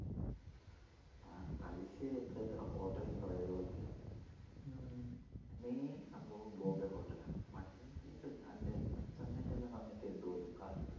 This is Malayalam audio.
തലശ്ശേരില് എത്രയെത്ര hotel ണ്ട് പ്രയോഗിക്കാൻ main സംഭവം ബോംബെ hotel ആ പണ്ട് എൻ്റെ അച്ചമ്മേടല്ലാം സമയത്തെ ഉണ്ടു പോലും കാലത്തു